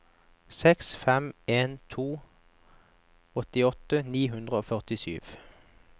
seks fem en to åttiåtte ni hundre og førtisju